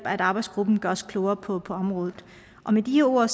at arbejdsgruppen gør os klogere på området med de ord